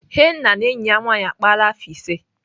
Henna na enyi ya nwaanyị akpaala afọ ise.